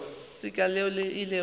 letseka leo le ilego la